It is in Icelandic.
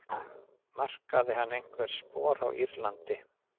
Markaði hann einhver spor á Írlandi?